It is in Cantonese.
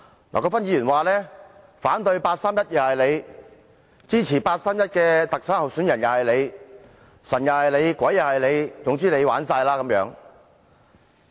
劉國勳議員說：反對八三一決定是你，支持八三一決定下的特首候選人也是你，"神又是你，鬼又是你，總之你玩哂啦"。